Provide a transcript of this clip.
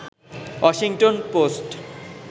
Washington post